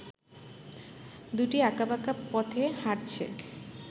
দুটিই আকাঁবাকা পথে হাটছে